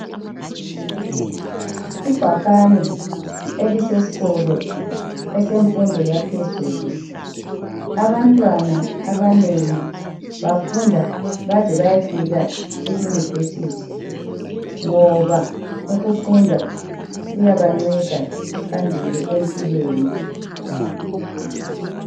Ibhakane elisesikolo esemfundo yaphezulu. Abantwana abanengi bafunda baze bayefika e Yunivesithi ngoba ukufunda kuyabanceda phambili empilweni.